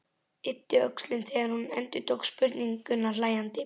Yppti öxlum þegar hún endurtók spurninguna hlæjandi.